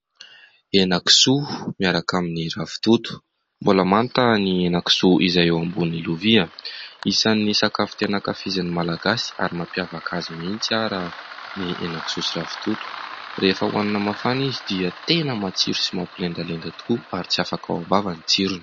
Henan-kisoa miaraka amin'ny ravitoto. Mbola manta ny henan-kisoa izay eo ambonin'ny lovia ; isan'ny sakafo tena nankafizin'ny Malagasy ary mampiavaka azy mihitsy raha ny henan-kisoa sy ravitoto rehefa hohanina mafana izy dia tena matsiro sy mampilendalenda tokoa ary tsy afaka ao am-bava ny tsirony.